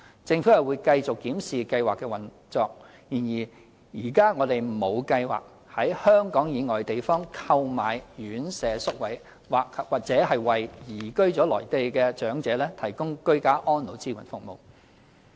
政府會繼續檢視計劃的運作，然而，現時我們沒有計劃在香港以外地方購買院舍宿位或為移居內地的長者提供居家安老支援服務。